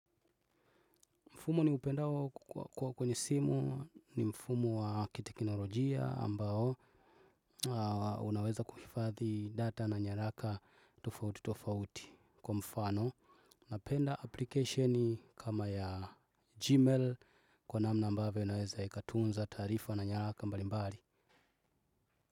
Mfumo ni upendao kwenye simu ni mfumo wa kitekinolojia ambao, unaweza kuhifadhi data na nyaraka tofauti tofauti kwa mfano. Napenda application kama ya gmail kwa namna ambavyo inaweza ikatunza taarifa na nyaraka mbalimbari.